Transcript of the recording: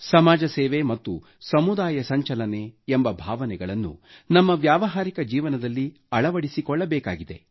ಸಮಾಜ ಸೇವೆ ಮತ್ತು ಸಮುದಾಯ ಸಂಚಲನೆ ಎಂಬ ಭಾವನೆಗಳನ್ನು ನಮ್ಮ ವ್ಯಾವಹಾರಿಕ ಜೀವನದಲ್ಲಿ ಅಳವಡಿಸಿಕೊಳ್ಳಬೇಕಿದೆ